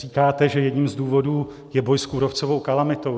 Říkáte, že jedním z důvodů je boj s kůrovcovou kalamitou.